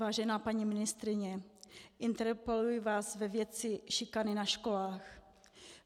Vážená paní ministryně, interpeluji vás ve věci šikany na školách.